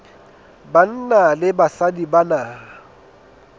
banna le basadi ba na